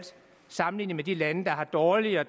sammenligner os med de lande der har dårligere